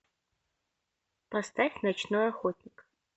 поставь ночной охотник